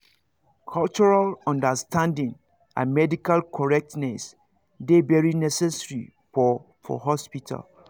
cultural understanding and medical correctness dey very necessary for for hospital